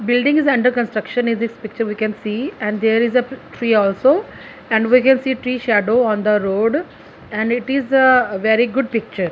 building is under construction is this picture we can and there is a tree also and we see three shadow on the road and it is the very good picture.